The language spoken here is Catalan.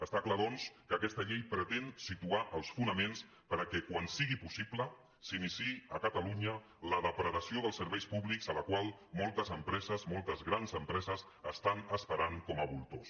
està clar doncs que aquesta llei pretén situar els fonaments perquè quan sigui possible s’iniciï a catalunya la depredació dels serveis públics la qual moltes empreses moltes grans empreses estan esperant com a voltors